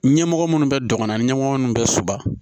Ɲɛmɔgɔ minnu bɛ dɔgɔnɔ ɲɛmɔgɔ minnu bɛ soba